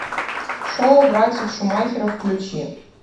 шоу братьев шумахеров включи